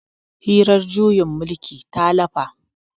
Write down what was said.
hirar juyin mulkin ta lafa